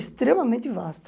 Extremamente vasto.